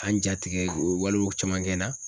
jatigɛ o walew caman kɛ n na.